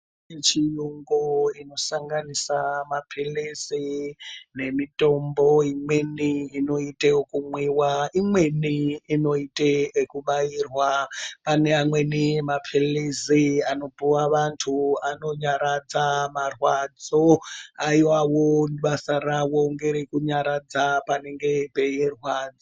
Mitombo inosanganisa mapirizi nemitombo imweni inoite kunwiwa imweni inoite zvekubairwa . Pane mamweni mapirizi anopihwe andu anonyaradza marwadzo aiwawo basa ravo ngere kunyaradza panenge peirwadza.